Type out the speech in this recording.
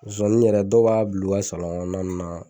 Zozani yɛrɛ dɔw b'a bila o ka kɔnɔna ninnu na.